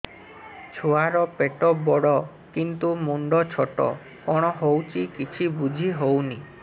ଛୁଆର ପେଟବଡ଼ କିନ୍ତୁ ମୁଣ୍ଡ ଛୋଟ କଣ ହଉଚି କିଛି ଵୁଝିହୋଉନି